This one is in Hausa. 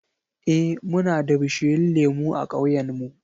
Eh, muna da bishiyun lemu a ƙauyen mu.